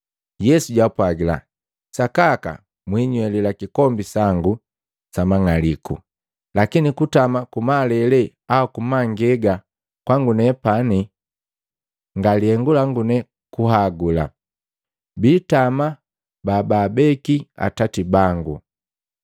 Yesu jwaapwagila, “Sakaka mwiinywelila kikombi sangu samang'aliku, lakini kutama kumalele au kumangega kwangu nepani, nga lihengu langu ne kuhagula. Biitama babaabeki Atati bangu.”